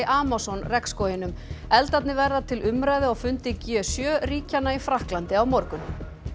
Amazon eldarnir verða til umræðu á fundi g sjö ríkjanna í Frakklandi á morgun